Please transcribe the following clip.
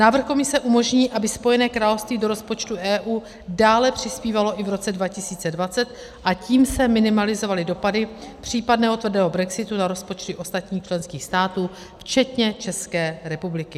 Návrh Komise umožní, aby Spojené království do rozpočtu EU dále přispívalo i v roce 2020, a tím se minimalizovaly dopady případného tvrdého brexitu na rozpočty ostatních členských států včetně České republiky.